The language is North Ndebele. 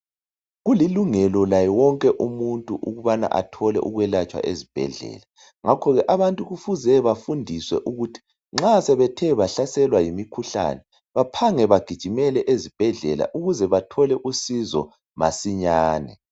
Kulilungela lawo wonke umuntu ukubana scholarship ezibhedlela. Ngakho ke abanikufuze bafundiswe ukuthi nxa sebethe bahlaselwa yimikhuhlane baphange bagijimele ezibhedlela ukubana bathole usizo masinyane.